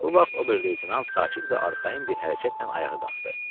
Bu vaxt ober-leytenant sakit və arxayın bir hərəkətlə ayağa qalxdı.